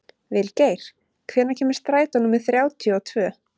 Vilgeir, hvenær kemur strætó númer þrjátíu og tvö?